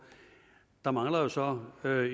der mangler jo så at